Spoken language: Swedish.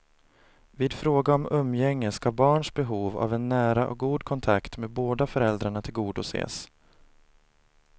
Vid fråga om umgänge ska barns behov av en nära och god kontakt med båda föräldrarna tillgodoses.